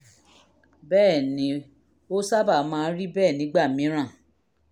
bẹ́ẹ̀ ni ó sábà máa ń rí bẹ́ẹ̀ nígbà mìíràn